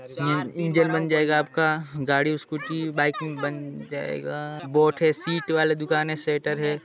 Engine बन जायेगा आपका गाड़ी स्कूटी बाइक बन जायेगा आपका बोर्ड हैं सीट वाला दुकान हैं शटर हैं।